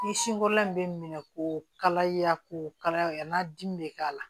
Ni sin kɔrɔlan in bɛ minɛ ko kala yako kalaya n'a dimi bɛ k'a la